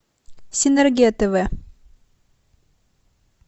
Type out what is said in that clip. синергия тв